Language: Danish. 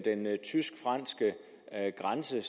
tysk franske grænse